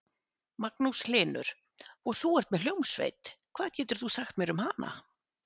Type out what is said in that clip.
Magnús Hlynur: Og þú ert með hljómsveit, hvað getur þú sagt mér um hana?